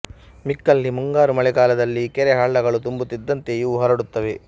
ಮಿಕ್ಕಲ್ಲಿ ಮುಂಗಾರು ಮಳೆಗಾಲದಲ್ಲಿ ಕೆರೆ ಹಳ್ಳಗಳು ತುಂಬುತ್ತಿದ್ದಂತೆ ಇವೂ ಹರಡುತ್ತವೆ